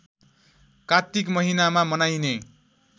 कात्तिक महिनामा मनाइने